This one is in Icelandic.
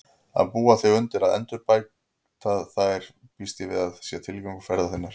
Að búa þig undir að embætta þar býst ég við sé tilgangur ferðar þinnar.